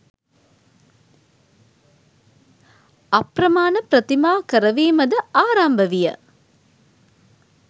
අප්‍රමාණ ප්‍රතිමා කරවීමද ආරම්භ විය.